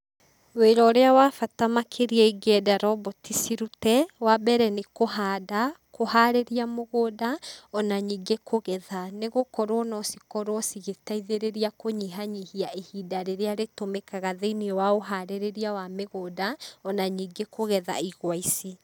Wĩra ũrĩa wa bata makĩria ĩngĩenda romboti cirute, wa mbere nĩ kũhanda, kũharĩria mũgũnda, ona ningĩ kũgetha. Nĩ gũkorwo no cikorwo cigĩteithĩrĩria kũnyihanyihia ihinda rĩrĩa rĩtũmĩkaga thĩiniĩ wa ũharĩrĩria wa mĩgũnda ona ningĩ kũgetha igwa ici.